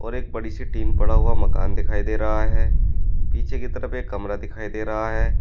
और एक बड़ी सी टीन पड़ा हुआ मकान दिखाई दे रहा है पीछे की तरफ एक कमरा दिखाई दे रहा है।